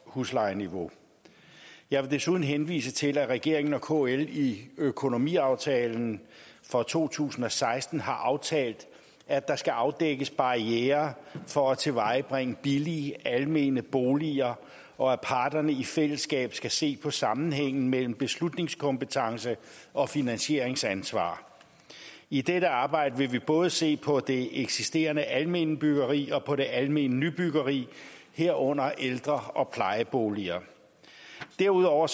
huslejeniveau jeg vil desuden henvise til at regeringen og kl i økonomiaftalen for to tusind og seksten har aftalt at der skal afdækkes barrierer for at tilvejebringe billige almene boliger og at parterne i fællesskab skal se på sammenhængen mellem beslutningskompetence og finansieringsansvar i dette arbejde vil vi både se på det eksisterende almene byggeri og på det almene nybyggeri herunder ældre og plejeboliger derudover